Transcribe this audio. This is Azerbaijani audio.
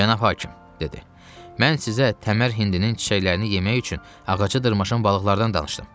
Cənab hakim, dedi: Mən sizə Təmər Hindinin çiçəklərini yemək üçün ağaca dırmaşan balıqlardan danışdım.